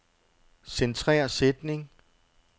Centrer sætning.